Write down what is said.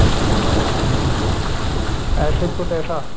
ਐਸੇ ਕੋ ਤੈਸਾ